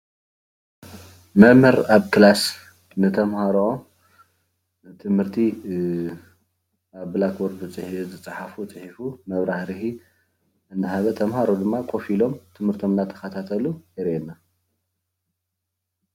መምህር ኣብ ክላስ ንተምሃሮ ትምህርቲ ኣብ ብላክቦርድ ዝፀሓፎ ፂሒፉ መብራርሂ እናሃበ እናሃበ ተምሃሮ ድማ ኮፍ ኢሎም ትምህርቶም እናተኸታተሉ የርእየና።